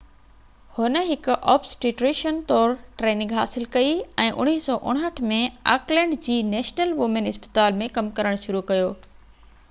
هن هڪ اوبسٽيريشين طور ٽريننگ حاصل ڪئي ۽ 1959 ۾ آڪلينڊ جي نيشنل وومين اسپتال ۾ ڪم ڪرڻ شروع ڪيو